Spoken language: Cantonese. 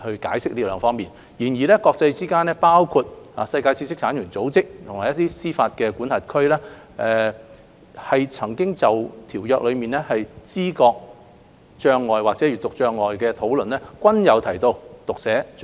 然而，國際間包括世界知識產權組織和一些司法管轄區就《馬拉喀什條約》中知覺障礙或閱讀障礙的討論，均有提及讀寫障礙。